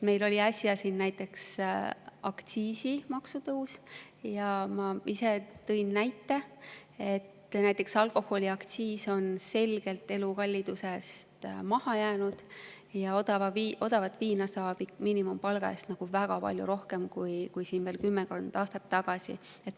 Meil oli äsja siin aktsiisitõus ja ma tõin näite, et alkoholiaktsiis on selgelt elukallidusest maha jäänud ja odavat viina saab miinimumpalga eest väga palju rohkem kui veel kümmekond aastat tagasi.